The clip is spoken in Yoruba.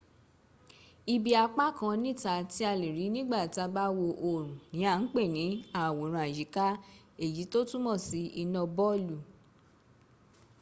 ibi apá kan níta tí a lè̀rí nígbà tàà bá wo oòrùn ní à ń pè̀ ní àwòrán-àyíká èyí tó túnmò sí iná bọlù